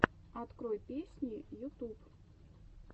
открой песни ютуб